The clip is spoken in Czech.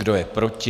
Kdo je proti?